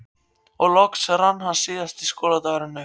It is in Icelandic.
Og loks rann síðasti skóladagurinn upp.